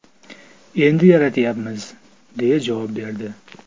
Endi yaratyapmiz”, deya javob berdi.